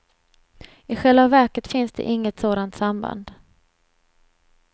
I själva verket finns det inget sådant samband.